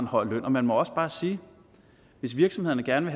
høj løn og man må også bare sige hvis virksomhederne gerne